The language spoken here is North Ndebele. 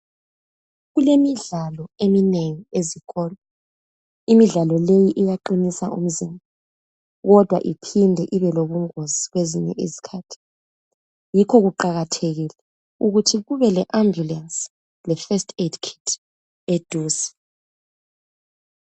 Kulemidlalo eminengi ezikolo. Imidlalo leyi iyaqinisa imizimba kodwa iphinde ibelobungozi kwezinye izikhathi. Yikho kuqakathekile ukuthi kube le- Ambulance le First Aid Kit eduze.